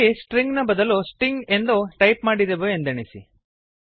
ಇಲ್ಲಿ ಸ್ಟ್ರಿಂಗ್ ನ ಬದಲು ಸ್ಟಿಂಗ್ ಎಂದು ಟೈಪ್ ಮಾಡಿದೆವು ಎಂದೆಣಿಸಿ